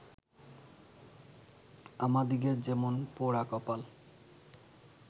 আমাদিগের যেমন পোড়া কপাল